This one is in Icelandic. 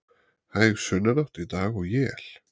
Hæg sunnanátt í dag og él